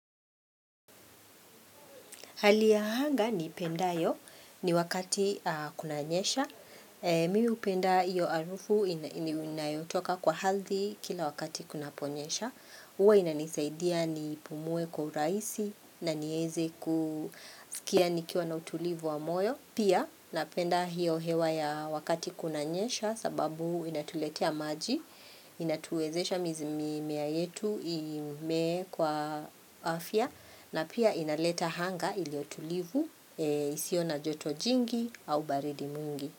Hali ya hanga ni ipenda yo ni wakati kuna nyesha. Mi upenda iyo arufu inayotoka kwa halthi kila wakati kuna ponyesha. Uwa inanisaidia ni pumue kwa uraisi na nieze kusikia nikiwa na utulivu wa moyo. Pia napenda hiyo hewa ya wakati kuna nyesha sababu inatuletea maji. Inatuwezesha mizmi mea yetu ime kwa afya. Na pia inaleta hanga iliyotulivu, isiyo na joto jingi au baridi mingi.